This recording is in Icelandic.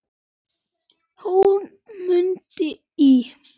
Hún Munda í